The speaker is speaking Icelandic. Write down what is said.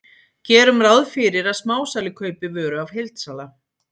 Gerum ráð fyrir að smásali kaupi vöru af heildsala.